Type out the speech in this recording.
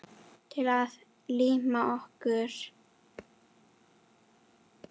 Til að líma okkur.